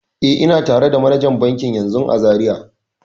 E, ina tare da manajan bankin yanzun a Zariya.